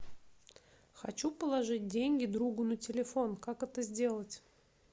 хочу положить деньги другу на телефон как это сделать